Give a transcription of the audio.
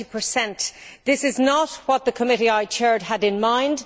20. This is not what the committee I chaired had in mind.